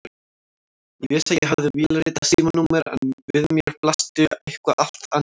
Ég vissi að ég hafði vélritað símanúmer en við mér blasti eitthvað allt annað.